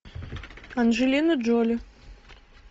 анджелина джоли